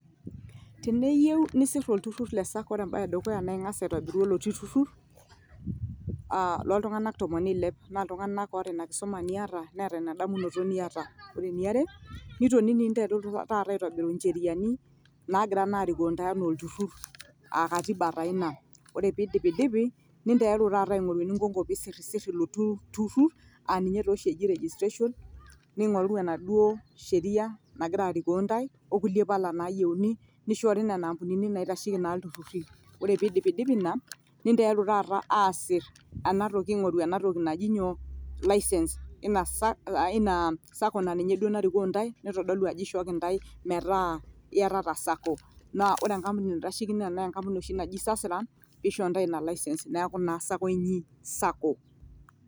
teniyieu nisir olturur le sacco ore embae edukuya naa ing'as aitobiru oloti turur aa loltung; anak tomon neilep naa iltung'anak oota ina kisuma niyata neeta ina damunoto niyata, ore eniare nitonini ninteruru taata aitobiru incherini naagira naa arikoo ntae enaa olturur aa katiba taa ina, ore pindipidipi nenteruru taata aing'oru eninkoko pesirisiri ilo turur aa ninye taa oshi eji registration ning'oruru enaduo sheria nagira arikoo ntae okulie pala nayieuni. nishoore nena ampunini naitasheki naa iltururi ore pindipidipi ina ninteruru taata asir enatoki, aing'oru ena toki naji nyoo, license, ina sa,, ina sacco naa ninye duo narikoo ntae naitodolu ajo eishooki intae metaa iyatata sacco naa ore enkampuni naitasheiki naa enkampuni oshi naji sasra meisho ntae ina license neeku naa sacco inyi sacco'